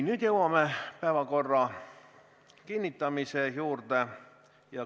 Nüüd jõuame päevakorra kinnitamise juurde.